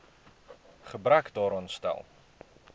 gebrek daaraan stel